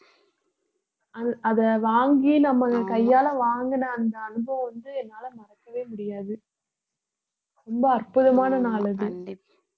அத~ அதை வாங்கி நம்ம கையால வாங்கின அந்த அனுபவம் வந்து என்னால மறக்கவே முடியாது ரொம்ப அற்புதமான நாள் அது